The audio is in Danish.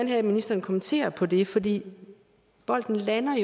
have at ministeren kommenterer på det fordi bolden lander